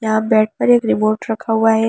यहां बेड पर एक रिमोट रखा हुआ है।